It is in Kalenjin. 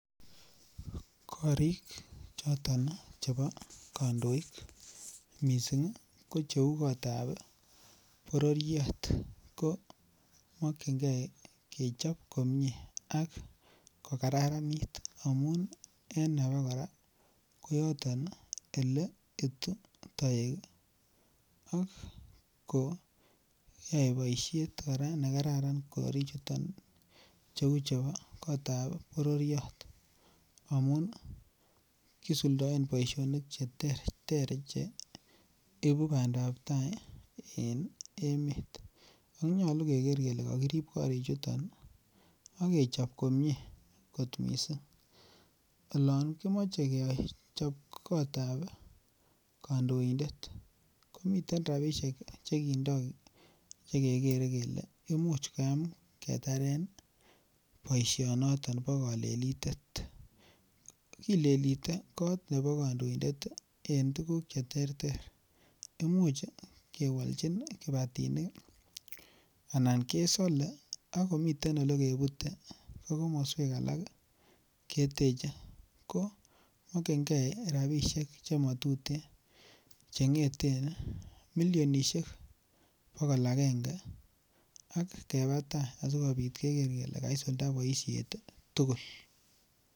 Korik choton chebo kondoik missing ko cheu kotab bororirk ko mokingee kechob komie ak ko kararanit amun en abakoraa ko yoton oleitu toek ak koyai boishet Koraa nekararan korik chuton cheu chebo kotabab bororiet amun kisuldoen boishonik cheterter ibu pandap tai en emet, onyolu Keker kele kokirib kitu chuton akechob komie kor missing. Yon kimoche kechob kotab kondoindet komiten rabishek chekindoo chekere kele imuch koyam ketaren boishoniton bo kolelitet. Kilelite kot nebo kondoindet en tukuk cheterter imuche kewolchin anan kesole akomiten olekebute ko komoswek alak keteche ko mokingee rabishek chemotuyen chengeten milionishek bokol agenge ak keba tai asikopit Keker kele kaisulda boishet tukul.